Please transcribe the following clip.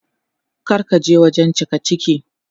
Kar ka je wajen cikaciki.